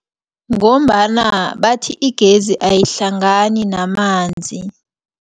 Ngombana bathi igezi ayihlangani namanzi.